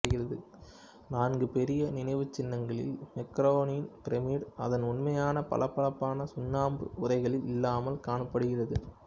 நான்கு பெரிய நினைவுச்சின்னங்களில் மென்காரேயின் பிரமிடு அதன் உண்மையான பளபளப்பான சுண்ணாம்பு உறைகளில் இல்லாமல் காணப்படுகிறது